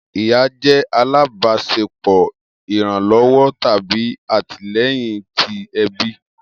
Iya jẹ alabaṣepọ iranlọwọ tabi atilẹyin ti ẹbi.